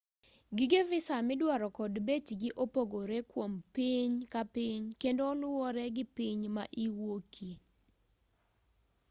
gige visa midwaro kod bechgi opogore kuom piny ka piny kendo oluwore gi piny ma iwuokie